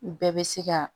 U bɛɛ bɛ se ka